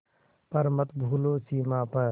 पर मत भूलो सीमा पर